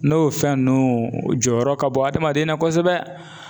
N'o fɛn nunnu o jɔyɔrɔ ka bon adamaden na kosɛbɛ